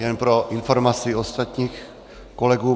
Jen pro informaci ostatních kolegů.